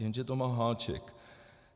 Jenže to má háček.